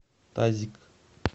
тазик